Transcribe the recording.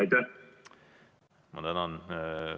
Tänan!